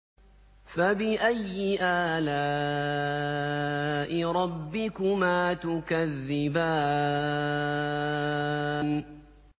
فَبِأَيِّ آلَاءِ رَبِّكُمَا تُكَذِّبَانِ